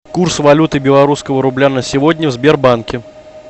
курс валюты белорусского рубля на сегодня в сбербанке